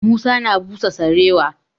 Musa na busa sarewa.